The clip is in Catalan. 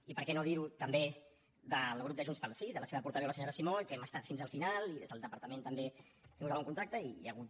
i per què no dir ho també del grup de junts pel sí de la seva portaveu la senyora simó i que hem estat fins al final i des del departament també hem tingut algun contacte i hi ha hagut